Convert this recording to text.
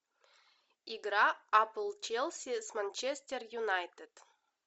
игра апл челси с манчестер юнайтед